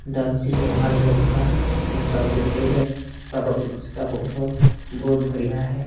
Dancing हुआ इन लोग का यहां पर बैठें हैं और वो इसका फोटो बहुत बढ़िया है।